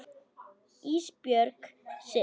Ísbjörg sitt.